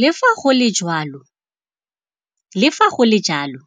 Le fa go le jalo,